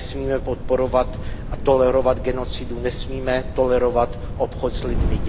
Nesmíme podporovat a tolerovat genocidu, nesmíme tolerovat obchod s lidmi.